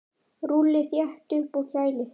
Rúllið þétt upp og kælið.